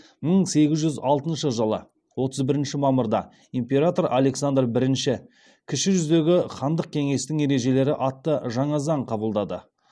мың сегіз жүз алтыншы жылы отыз бірінші мамырда император александр бірінші кіші жүздегі хандық кеңестің ережелері атты жаңа заң қабылдады